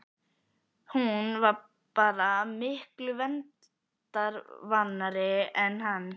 Hún var bara miklu veraldarvanari en hann.